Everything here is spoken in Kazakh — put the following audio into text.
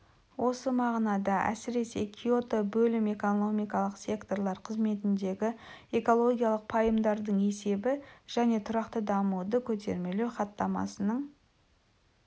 осы мағынада әсіресе киото бөлім экономикалық секторлар қызметіндегі экологиялық пайымдардың есебі және тұрақты дамуды көтермелеу хаттамасының